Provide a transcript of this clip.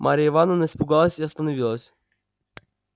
марья ивановна испугалась и остановилась